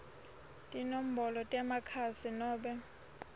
tinombolo temakhasi nobe